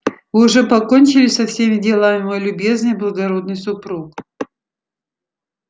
вы уже покончили со всеми делами мой любезный благородный супруг